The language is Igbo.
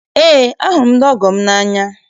Eé, ahụrụ m ndị ọgọ m n'anya